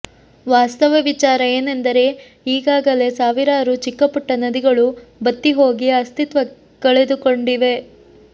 ವಾಸ್ತವ ವಿಚಾರ ಏನೆಂದರೆ ಈಗಾಗಲೇ ಸಾವಿರಾರು ಚಿಕ್ಕಪುಟ್ಟ ನದಿಗಳು ಬತ್ತಿ ಹೋಗಿ ಅಸ್ತಿತ್ವ ಕಳೆದುಕೊಂಡಿವೆ